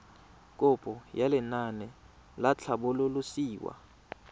kopo ya lenaane la tlhabololosewa